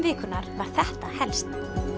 vikunnar var þetta helst